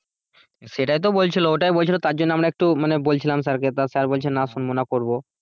সেটাই তো বলছিল ওটাই বলছিল তার জন্য আমরা একটু মানে বলছিলাম স্যারকে তা স্যার বলছে না শুনবো না করব।